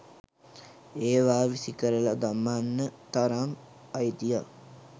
ඒවා විසිකරල දමන්න තරම් අයිතියක්